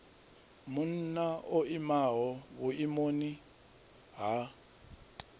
munna o imaho vhuimoni ha